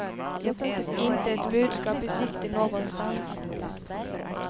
Inte ett budskap i sikte någonstans.